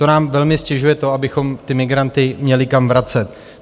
To nám velmi ztěžuje to, abychom ty migranty měli kam vracet.